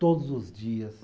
Todos os dias.